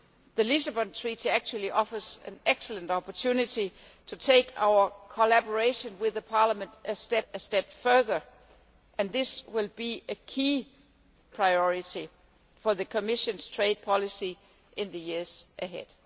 The Lisbon Treaty actually offers an excellent opportunity to take our collaboration with Parliament a step further, and this will be a key priority for the Commission's trade policy in the years ahead.